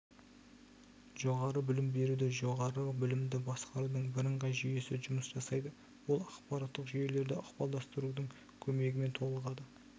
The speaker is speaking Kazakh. жоғары білім беруде жоғары білімді басқарудың бірыңғай жүйесі жұмыс жасайды ол ақпараттық жүйелерді ықпалдастырудың көмегімен толығады